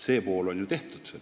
See pool on tehtud.